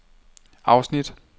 afsnit